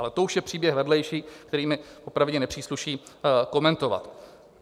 Ale to už je příběh vedlejší, který mi popravdě nepřísluší komentovat.